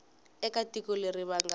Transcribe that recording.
eka tiko leri va nga